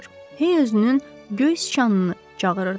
Hey özünün göy siçanını çağırırdı.